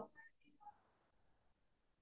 হয় হয়